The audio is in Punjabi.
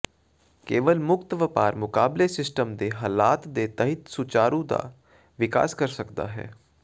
ਕੇਵਲ ਮੁਕਤ ਵਪਾਰ ਮੁਕਾਬਲੇ ਸਿਸਟਮ ਦੇ ਹਾਲਾਤ ਦੇ ਤਹਿਤ ਸੁਚਾਰੂ ਦਾ ਵਿਕਾਸ ਕਰ ਸਕਦਾ ਹੈ